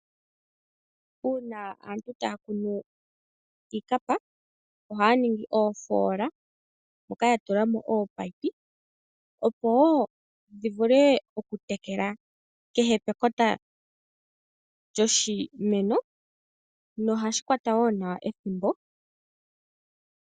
Uuna aantu taya kunu iikapa ohaya ningi oofoola moka ya tulamo oopayipi opo dhi vule oku tekela kehe pekota lyoshimeno nohashi kwata wo nawa ethimbo.